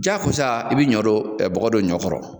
Jaa kosa i bi ɲɔ don bɔgɔ don ɲɔ kɔrɔ